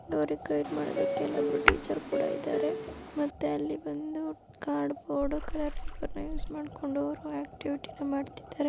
" ಅವ್ರಿಗೆ ಗೈಡ್ ಮಾಡ್ಲಿಕೆ ಇಲ್ಲೊಬ್ರು ಟೀಚರ್ ಕೂಡ ಇದಾರೆ ಮತ್ತೆ ಅಲ್ಲಿ ಅವರು ಬಂದು ಕಾರ್ಡ್ ಬೋರ್ಡ್ ನ ಯೂಸ್ ಮಾಡ್ಕೊಂಡು ಆಕ್ಟಿವಿಟಿ ಮಾಡ್ತಾ ಇದ್ದಾರೆ .